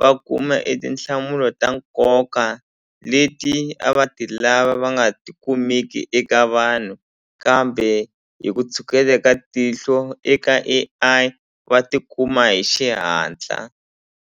va kuma e tinhlamulo ta nkoka leti a va ti lava va nga tikumeki eka vanhu kambe hi ku tshuketa ka tihlo eka A_I va tikuma hi xihatla.